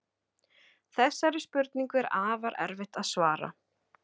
Þessari spurningu er afar erfitt að svara.